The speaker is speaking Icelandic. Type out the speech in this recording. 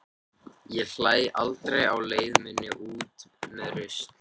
Ég hlæ aldrei á leið minni út með rusl.